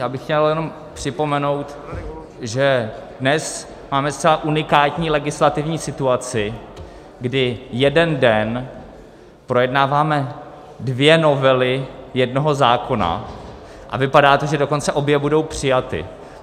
Já bych chtěl jenom připomenout, že dnes máme zcela unikátní legislativní situaci, kdy jeden den projednáváme dvě novely jednoho zákona, a vypadá to, že dokonce obě budou přijaty.